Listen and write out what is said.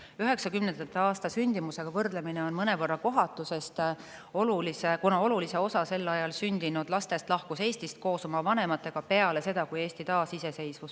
" 1990. aasta sündimusega võrdlemine on mõnevõrra kohatu, sest oluline osa sel ajal sündinud lastest lahkus Eestist koos oma vanematega peale seda, kui Eesti taasiseseisvus.